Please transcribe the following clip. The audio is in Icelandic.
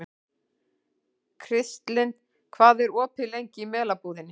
Kristlind, hvað er opið lengi í Melabúðinni?